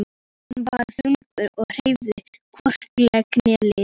Hann var þungur og hreyfði hvorki legg né lið.